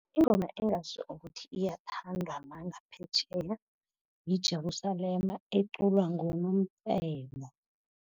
Ingoma engazi ukuthi iyathandwa nangaphetjheya, yiJerusalema eculwa nguNomcebo.